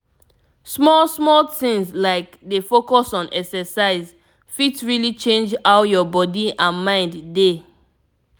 small small things like dey focus on exercise fit really change how your body and mind dey.